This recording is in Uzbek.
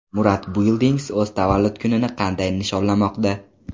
Murad Buildings o‘z tavallud kunini qanday nishonlamoqda?.